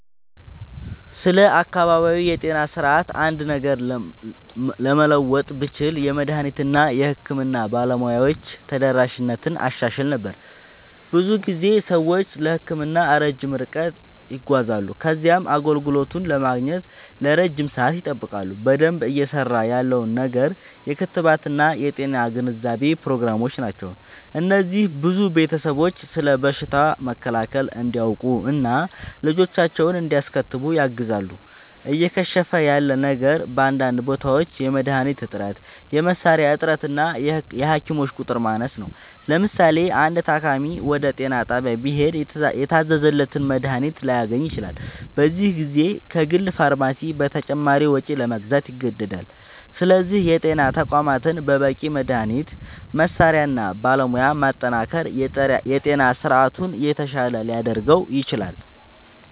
ስለ አካባቢያዊ የጤና ስርዓት አንድ ነገር ለመለወጥ ብችል፣ የመድኃኒት እና የሕክምና ባለሙያዎች ተደራሽነትን አሻሽል ነበር። ብዙ ጊዜ ሰዎች ለሕክምና ረጅም ርቀት ይጓዛሉ ከዚያም አገልግሎቱን ለማግኘት ለረጅም ሰዓት ይጠብቃሉ። በደንብ እየሠራ ያለው ነገር የክትባት እና የጤና ግንዛቤ ፕሮግራሞች ናቸው። እነዚህ ብዙ ቤተሰቦች ስለ በሽታ መከላከል እንዲያውቁ እና ልጆቻቸውን እንዲያስከትቡ ያግዛሉ። እየከሸፈ ያለ ነገር በአንዳንድ ቦታዎች የመድኃኒት እጥረት፣ የመሣሪያ እጥረት እና የሐኪሞች ቁጥር ማነስ ነው። ለምሳሌ፣ አንድ ታካሚ ወደ ጤና ጣቢያ ቢሄድ የታዘዘለትን መድኃኒት ላያገኝ ይችላል፤ በዚህ ጊዜ ከግል ፋርማሲ በተጨማሪ ወጪ ለመግዛት ይገደዳል። ስለዚህ የጤና ተቋማትን በበቂ መድኃኒት፣ መሣሪያ እና ባለሙያ ማጠናከር የጤና ስርዓቱን የተሻለ ሊያደርገው ይችላል።